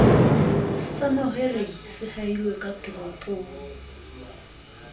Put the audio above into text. sa mahwelereng se ahilweng katoropong